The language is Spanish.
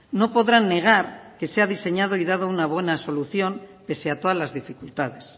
no podrán negar que se ha diseñado y dado una buena solución pese a todas las dificultades